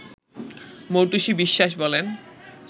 মৌটুসী বিশ্বাস বলেন